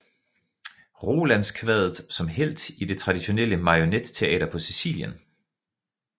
Rolandskvadet som helt i det traditionelle marionetteater på Sicilien